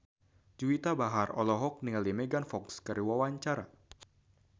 Juwita Bahar olohok ningali Megan Fox keur diwawancara